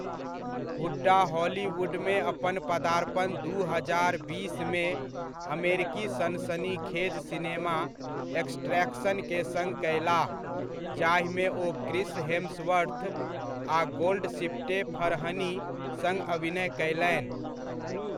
हुड्डा हॉलीवुडमे अपन पदार्पण दू हजार बीसमे, अमेरिकी सनसनीखेज सिनेमा एक्सट्रैक्शन के सङ्ग कयलाह, जाहिमे ओ क्रिस हेम्सवर्थ आ गोल्डशिफ्टे फरहनी सङ्ग अभिनय कयलनि।